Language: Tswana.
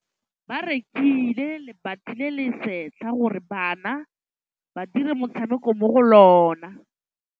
Ba rekile lebati le le setlha gore bana ba dire motshameko mo go lona.